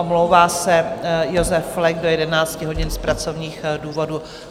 Omlouvá se Josef Flek do 11 hodin z pracovních důvodů.